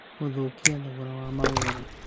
Gũthũkia thogora wa mawĩra